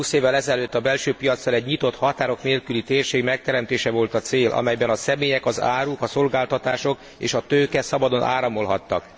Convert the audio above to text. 20 évvel ezelőtt a belső piaccal egy nyitott, határok nélküli térség megteremtése volt a cél, amelyben a személyek, az áruk, a szolgáltatások és a tőke szabadon áramolhattak.